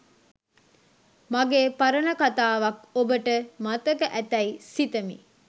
මගේ පරණ කතාවක් ඔබට මතක ඇතැයි සිත‍මි